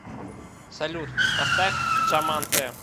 салют поставь джаман тэ